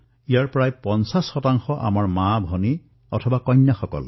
ইয়াতো প্ৰায় ৫০ শতাংশ হিতাধিকাৰী আমাৰ মাতৃভগ্নী আৰু কন্যা